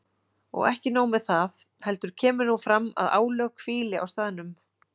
Og ekki nóg með það, heldur kemur nú fram að álög hvíli á staðnum.